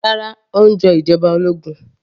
Rárá, ó ń jọ ìjọba ológun